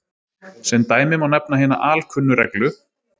Sem dæmi má nefna hina alkunnu reglu